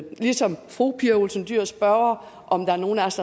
ligesom fru pia olsen dyhr spørger om der er nogen af os